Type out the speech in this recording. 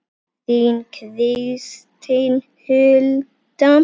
Þín Kristín Hulda.